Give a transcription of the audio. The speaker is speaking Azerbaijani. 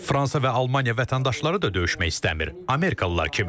Fransa və Almaniya vətəndaşları da döyüşmək istəmir, Amerikalılar kimi.